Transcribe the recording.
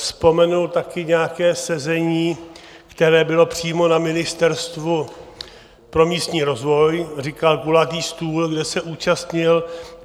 Vzpomenul také nějaké sezení, které bylo přímo na Ministerstvu pro místní rozvoj, říkal kulatý stůl, kde se účastnil.